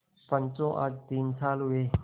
पंचो आज तीन साल हुए